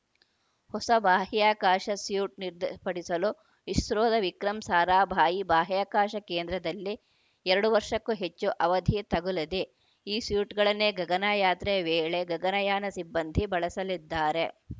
ಹೊಸ ಬಾಹ್ಯಾಕಾಶ ಸ್ಯೂಟ್‌ ನಿರ್ದಪಡಿಸಲು ಇಸ್ರೋದ ವಿಕ್ರಮ್‌ ಸಾರಾಭಾಯಿ ಬಾಹ್ಯಾಕಾಶ ಕೇಂದ್ರದಲ್ಲಿ ಎರಡು ವರ್ಷಕ್ಕೂ ಹೆಚ್ಚು ಅವಧಿ ತಗುಲಿದೆ ಈ ಸ್ಯೂಟ್‌ಗಳನ್ನೇ ಗಗನಯಾತ್ರೆಯ ವೇಳೆ ಗಗನಯಾನ ಸಿಬ್ಬಂದಿ ಬಳಸಲಿದ್ದಾರೆ